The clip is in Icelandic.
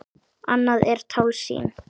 Annað er tálsýn.